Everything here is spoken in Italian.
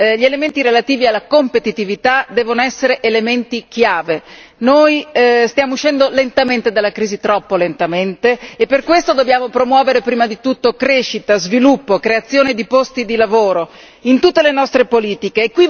Gli elementi relativi alla competitività devono essere elementi chiave noi stiamo uscendo lentamente dalla crisi, troppo lentamente, e per questo dobbiamo promuovere prima di tutto crescita, sviluppo, creazione di posti di lavoro, in tutte le nostre politiche.